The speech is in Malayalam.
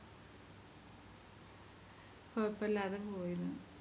കൊയപ്പില്ലാതെ പോയിരുന്നു